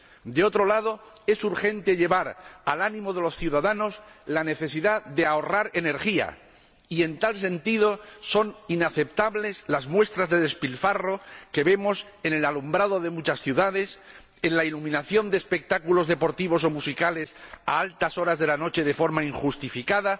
De otro lado, es urgente llevar al ánimo de los ciudadanos la necesidad de ahorrar energía, y en tal sentido son inaceptables las muestras de despilfarro que vemos en el alumbrado de muchas ciudades, en la iluminación de espectáculos deportivos o musicales a altas horas de la noche de forma injustificada,